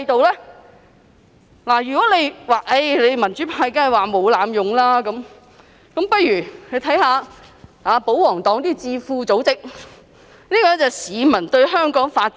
有人會指我們民主派一定會說沒有濫用，那大家不如看看保皇黨的一些智庫組織的調查結果。